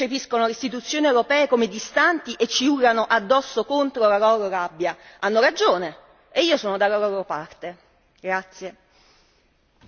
Non vi lamentate allora se i cittadini percepiscono le Istituzioni europee come distanti e ci urlano addosso la loro rabbia hanno ragione e io sono dalla loro parte.